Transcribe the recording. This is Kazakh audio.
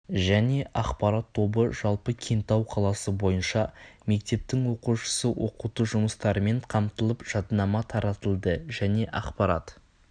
және ақпарат тобы жалпы кентау қаласы бойынша мектептің оқушысы оқыту жұмыстарымен қамтылып жадынама таратылды және ақпарат